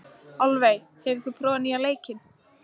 Álfey, hefur þú prófað nýja leikinn?